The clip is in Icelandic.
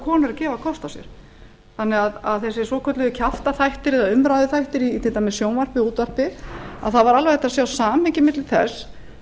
konur að gefa kost á sér þannig að þessir svokölluðu kjaftaþættir eða umræðuþættir í til dæmis sjónvarpi eða útvarpi það var alveg hægt að sjá samhengi milli þess